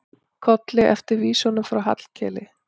Kolli eftir vísunum frá Hallkeli.